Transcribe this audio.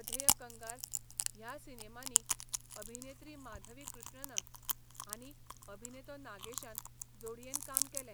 अधेय कंगाल ह्या सिनेमांनी अभिनेत्री माधवी कृष्णना आनी अभिनेतो नागेशान जोडयेन काम केलें.